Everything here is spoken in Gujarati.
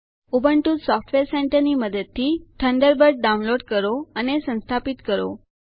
ઉબુન્ટુ સોફ્ટવેર સેન્ટર ની મદદથી ઠુંન્દેર્બીર્દ ડાઉનલોડ કરો અને સંસ્થાપિત કરો